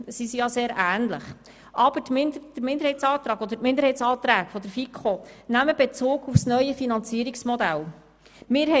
Sie sind sehr ähnlich, aber die Minderheitsanträge der FiKo nehmen auf das neue Finanzierungsmodell Bezug.